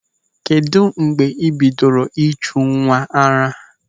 Kedụ mgbe ị bidoro ịjụ nwa ara?